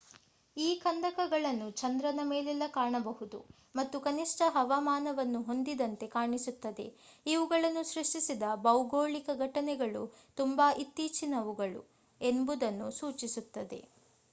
ಈ ಕಂದಕಗಳನ್ನು ಚಂದ್ರನ ಮೇಲೆಲ್ಲ ಕಾಣಬಹುದು ಮತ್ತು ಕನಿಷ್ಠ ಹವಾಮಾನವನ್ನು ಹೊಂದಿದಂತೆ ಕಾಣಿಸುತ್ತದೆ ಇವುಗಳನ್ನು ಸೃಷ್ಟಿಸಿದ ಭೌಗೋಳಿಕ ಘಟನೆಗಳು ತುಂಬಾ ಇತ್ತೀಚಿನವು ಎಂಬುದನ್ನು ಸೂಚಿಸುತ್ತದೆ